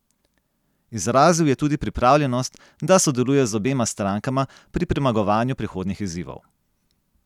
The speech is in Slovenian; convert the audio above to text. Izrazil je tudi pripravljenost, da sodeluje z obema strankama pri premagovanju prihodnjih izzivov.